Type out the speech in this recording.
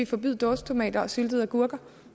forbyde dåsetomater og syltede agurker